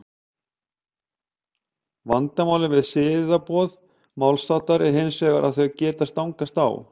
vandamálið við siðaboð málshátta er hins vegar að þau geta stangast á